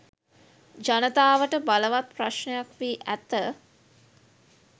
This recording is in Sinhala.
ජනතාවට බලවත් ප්‍රශ්නයක් වී ඇත.